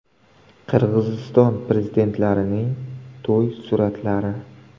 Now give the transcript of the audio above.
Qirg‘iziston prezidentlarining to‘y suratlari .